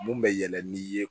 Mun bɛ yɛlɛn n'i ye